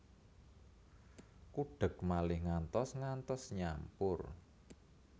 Kudhek malih ngantos ngantos nyampur